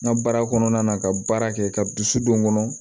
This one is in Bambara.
N ka baara kɔnɔna na ka baara kɛ ka dusu don n kɔnɔ